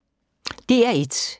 DR1